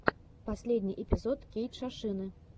последний эпизод кейтшошины